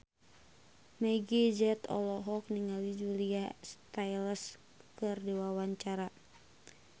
Meggie Z olohok ningali Julia Stiles keur diwawancara